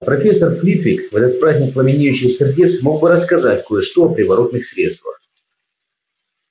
а профессор флитвик в этот праздник пламенеющих сердец мог бы рассказать кое-что о приворотных средствах